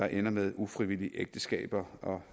ender med ufrivillige ægteskaber og